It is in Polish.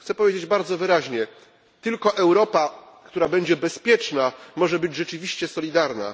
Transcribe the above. Chcę powiedzieć bardzo wyraźnie tylko Europa, która będzie bezpieczna, może być rzeczywiście solidarna.